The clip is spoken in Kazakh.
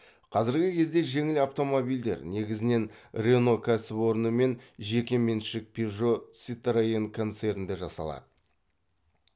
қазіргі кезде жеңіл автомобильдер негізінен рено кәсіпорны мен жеке меншік пежо ситроен концернде жасалады